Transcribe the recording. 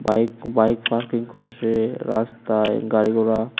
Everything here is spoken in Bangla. বাইক বাইক পার্কিং করসে রাস্তায় গাড়ি-ঘোড়া।